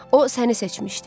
O səni seçmişdi.